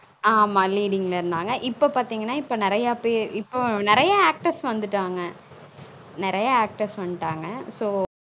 on ஆமா leading ல இருந்தாங்க இப்ப பாத்தீங்கனா இப்பொ நெறய பேர் இப்பொ நெறய actors வந்துருகாங்க நெறய actress வந்டாங்க